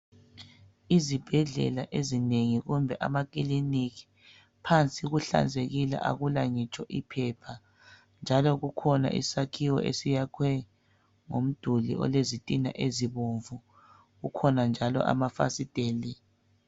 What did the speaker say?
Izibhedlela ezinengi kumbe amakiliniki. Phansi kuhlanzekile akula ngitsho iphepha, njalo kukhona isakhiwo esiyakhwe ngomduli olezitina ezibomvu kukhona njalo amafasiteli.